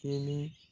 Kelen